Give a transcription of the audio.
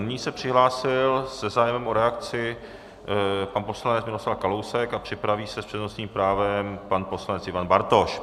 Nyní se přihlásil se zájmem o reakci pan poslanec Miroslav Kalousek a připraví se s přednostním právem pan poslanec Ivan Bartoš.